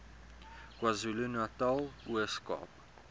kwazulunatal ooskaap